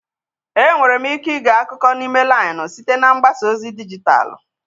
E nwere m ike ige akụkọ n'ime lainụ site na mgbasa ozi dijitalụ.